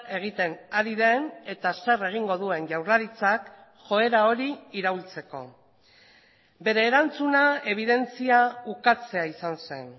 egiten ari den eta zer egingo duen jaurlaritzak joera hori iraultzeko bere erantzuna ebidentzia ukatzea izan zen